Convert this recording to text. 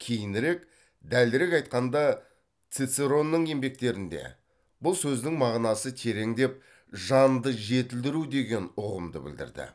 кейінірек дәлірек айтқанда цицеронның еңбектерінде бұл сөздің мағынасы тереңдеп жанды жетілдіру деген ұғымды білдірді